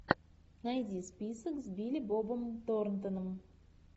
найди список с билли бобом торнтоном